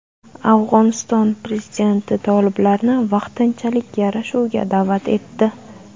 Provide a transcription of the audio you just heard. Afg‘oniston prezidenti toliblarni vaqtinchalik yarashuvga da’vat etdi.